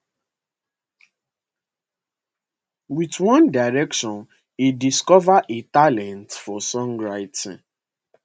with one direction e discover a talent for songwriting